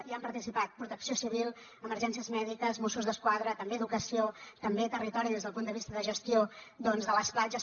hi han participat protecció civil emergències mèdiques mossos d’esquadra també educació també territori des del punt de vista de gestió doncs de les platges